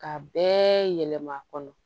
Ka bɛɛ yɛlɛma a kɔnɔ